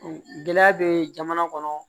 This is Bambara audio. Gɛlɛya bɛ jamana kɔnɔ